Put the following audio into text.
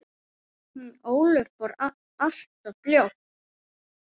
Hún Ólöf fór alltof fljótt.